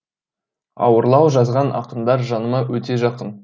ауырлау жазған ақындар жаныма өте жақын